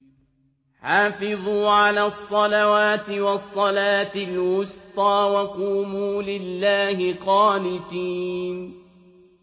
حَافِظُوا عَلَى الصَّلَوَاتِ وَالصَّلَاةِ الْوُسْطَىٰ وَقُومُوا لِلَّهِ قَانِتِينَ